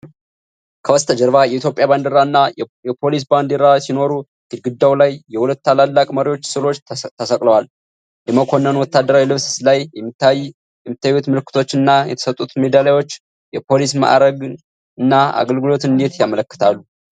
ከበስተጀርባ የኢትዮጵያ ባንዲራ እና የፖሊስ ባንዲራ ሲኖሩ፣ ግድግዳው ላይ የሁለት ታላላቅ መሪዎች ሥዕሎች ተሰቅለዋል። የመኮንኑ ወታደራዊ ልብስ ላይ የሚታዩት ምልክቶች እና የተሰጡት ሜዳሊያዎች የፖሊስን ማዕረግ እና አገልግሎት እንዴት ያመለክታሉ?